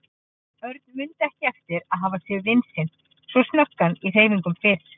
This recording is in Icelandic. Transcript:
Örn mundi ekki eftir að hafa séð vin sinn svo snöggan í hreyfingum fyrr.